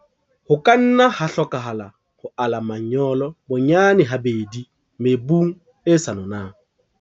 Ho ka nna ha hlokahala ho ala manyolo bonyane habedi mebung e sa nonang.